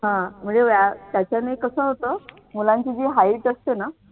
हा म्हणजे व्याया त्याच्याने कसं होतं मुलांची जी height असते ना